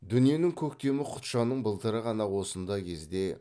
дүниенің көктемі құтжанның былтыры ғана осындай кезде